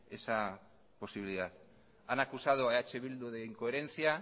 esa posibilidad han acusado a eh bildu de incoherencia